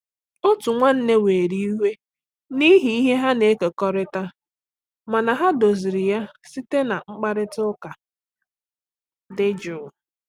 Otu nwanne were iwe n’ihi ihe ha na-ekekọrịta, mana ha doziri ya site na mkparịta ụka dị jụụ.